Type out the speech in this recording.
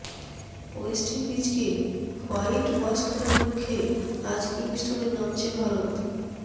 West ইন্ডিজকে white wash করার লক্ষ্যে আজ কিংস্টোনে নামছে ভারত